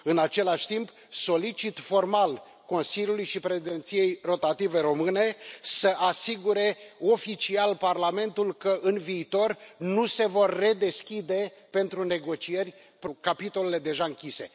În același timp, solicit formal Consiliului și Președinției rotative române să asigure oficial Parlamentul că, în viitor, nu se vor redeschide pentru negocieri capitolele deja închise.